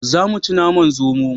Za mu ci naman zomo